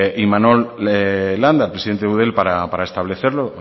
imanol landa presidente de eudel para establecerlo